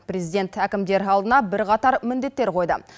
президент әкімдер алдына бірқатар міндеттер қойды